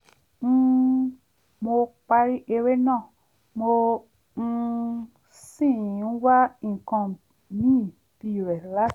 um mo parí eré náà mo um sì ń wá nǹkan míì bíirẹ̀ láti wò